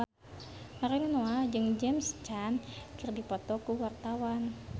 Ariel Noah jeung James Caan keur dipoto ku wartawan